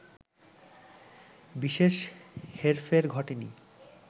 বিশেষ হেরফের ঘটেনি